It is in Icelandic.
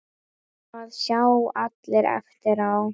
Það sjá allir eftir á.